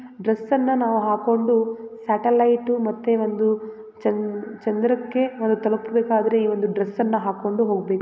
ಡ್ರೆಸ್ಸನ್ನ್‌ ನಾವು ಹಾಕೊಂಡು ಸೆಟಲೈಟು ಮತ್ತೆ ಒಂದು ಚನ್‌ ಚಂದ್ರಕೆ ಅವ್ರು ತಲುಪಬೆಕಾದ್ರೆ ಈ ಒಂದು ಡ್ರೆಸ್ಸನ್ನ ಹಾಕೊಂಡು ಹೊಗಬೆಕು .